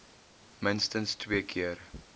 minstens twee keer